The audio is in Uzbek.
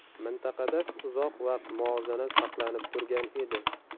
Mintaqada uzoq vaqt muvozanat saqlanib turgan edi.